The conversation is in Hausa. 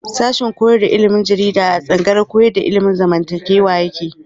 Sashen koyar da ilimin jarida a tsangayar koyar da ilimin zamantakewa yake.